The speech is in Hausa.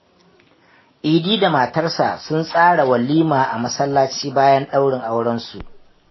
Idi da matarsa sun tsara walima a masallaci bayan daurin aurensu.